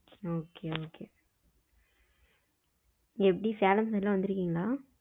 okay okay எப்டி சேலம் எல்லம் வந்துருகிங்களா?